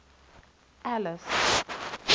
alice